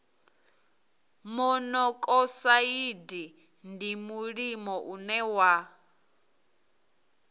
monokosaidi ndi mulimo une wa